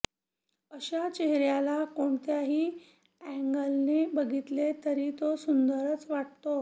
अशा चेहऱ्याला कोणत्याही अँगलने बघितले तरी तो सुंदरच वाटतो